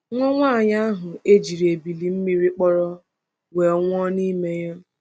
Nwa nwaanyị ahụ e jiri ebili mmiri kpọrọ, wee nwụọ n’ime ya.